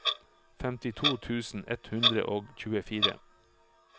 femtito tusen ett hundre og tjuefire